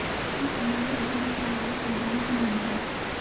इस सम्बन्ध में भ्रम फैलाना संभव ही नही है